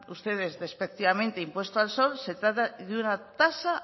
ustedes despectivamente impuesto al sol se trata de una tasa